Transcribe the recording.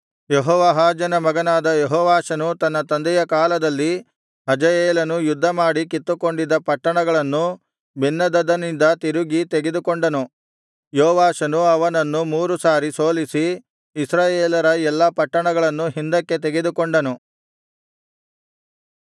ಯೆಹೋವಾಹಾಜನ ಮಗನಾದ ಯೆಹೋವಾಷನು ತನ್ನ ತಂದೆಯ ಕಾಲದಲ್ಲಿ ಹಜಾಯೇಲನು ಯುದ್ಧಮಾಡಿ ಕಿತ್ತುಕೊಂಡಿದ್ದ ಪಟ್ಟಣಗಳನ್ನು ಬೆನ್ಹದದನಿಂದ ತಿರುಗಿ ತೆಗೆದುಕೊಂಡನು ಯೋವಾಷನು ಅವನನ್ನು ಮೂರು ಸಾರಿ ಸೋಲಿಸಿ ಇಸ್ರಾಯೇಲರ ಎಲ್ಲಾ ಪಟ್ಟಣಗಳನ್ನು ಹಿಂದಕ್ಕೆ ತೆಗೆದುಕೊಂಡನು